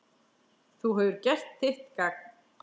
Þú hefur gert þitt gagn.